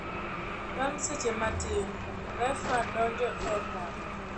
Bang seche matin refa donjo e pap.